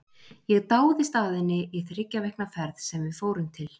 Ég dáðist að henni í þriggja vikna ferð sem við fórum til